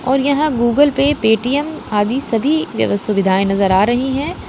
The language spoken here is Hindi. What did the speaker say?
और यहां गूगल पे पेटीएम आदि सभी व्यव सुविधाएं नजर आ रही हैं।